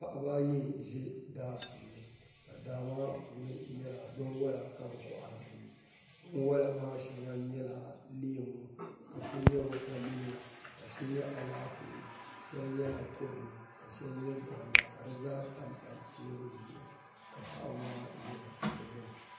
Paɣaba ayi n ʒi daa puuni ka daa maa puuni nyɛla binwola ka bi kohari dinni binwola maa shɛŋa nyɛla leemu ka shɛli nyɛ wotamilo ka shɛli nyɛ Alaafee shɛli nyɛla kodu ka shɛli nyɛ konda ka di zaa tamtam teebuli zuɣu ka paɣaba maa ʒɛ di gbuni